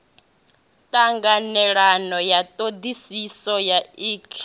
ṱhanganelano ya ṱhoḓisiso ya ik